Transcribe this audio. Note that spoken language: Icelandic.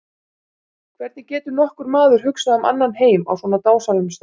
Hvernig getur nokkur maður hugsað um annan heim á svona dásamlegum stað.